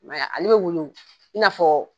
a bɛ woyo i n'afɔ.